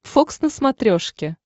фокс на смотрешке